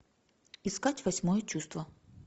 искать восьмое чувство